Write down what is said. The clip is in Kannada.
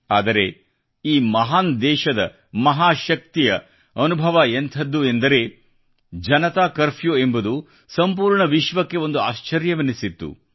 ಆದರೆ ಈ ಮಹಾನ್ ದೇಶದ ಮಹಾಶಕ್ತಿಯ ಅನುಭವ ಎಂಥದ್ದು ಎಂದರೆ ಜನತಾ ಕರ್ಫ್ಯೂ ಎಂಬುದು ಸಂಪೂರ್ಣ ವಿಶ್ವಕ್ಕೆ ಒಂದು ಆಶ್ಚರ್ಯವೆನಿಸಿತ್ತು